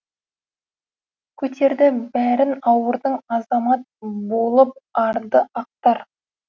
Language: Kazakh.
көтерді бәрін ауырдың азамат болып арды ақтар